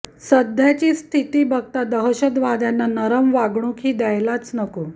सध्याची स्थिती बघता दहशतवाद्यांना नरम वागणूक हि द्यायलाच नको